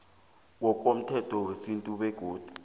ngokomthetho wesintu begodu